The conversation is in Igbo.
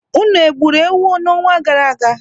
Unu egburu ewu n'ọnwa gara aga?